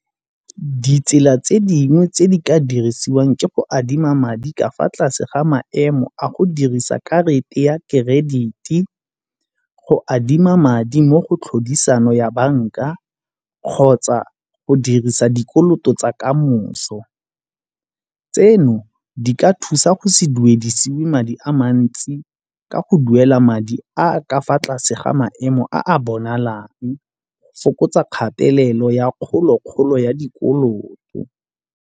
Ditsela tse dingwe tse di ka dirisiwang ke go adima madi ka fa tlase ga maemo a go dirisa karata ya gage credit-e, go adima madi mo go tlhodisano ya banka kgotsa go dirisa dikoloto tsa ka moso. Tseno di ka thusa go se duedisiwe madi a mantsi ka go duela madi a a ka fa tlase ga maemo a bonalang go fokotsa kgatelelo ya kgolo-kgolo ya dikoloto.